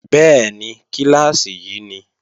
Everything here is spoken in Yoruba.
Bẹ́ẹ̀ni, kíláàsì yí ni